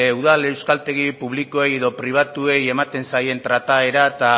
udal euskaltegi publiko edo pribatuei ematen zaien trataera eta